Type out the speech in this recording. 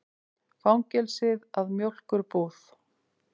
Fangelsið að mjólkurbúð.